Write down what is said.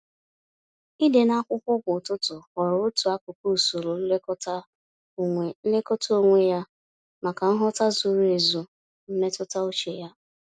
Ịde n'akwụkwọ kwa ụtụtụ ghọrọ otu akụkụ usoro nlekọta onwe nlekọta onwe ya, maka nghọta zuru ezu mmetụta uche ya.